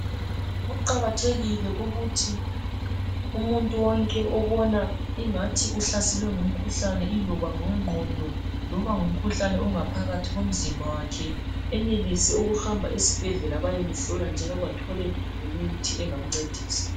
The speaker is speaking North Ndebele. Kuqakathekile ukuthi umuntu wonke obona ingathi uhlaselwe ngumkhuhlane iloba ngowe ngqondo loba ngumkhuhlane ongaphakathi komzimba wakhe enelise ukuhamba esibhedlela bayemhlola njalo bathole lemithi engamncedisa .